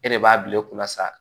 E de b'a bila e kunna sa